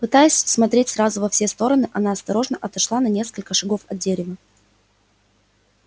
пытаясь смотреть сразу во все стороны она осторожно отошла на несколько шагов от дерева